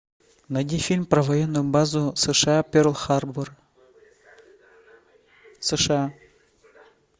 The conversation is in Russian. найди фильм про военную базу сша перл харбор сша